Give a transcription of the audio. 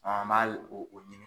an b'a hali o ɲini.